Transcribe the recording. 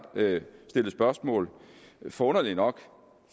stillet spørgsmål forunderligt nok